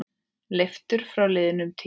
Leiftur frá liðnum tíma.